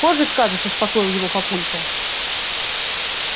позже скажешь успокоил его папулька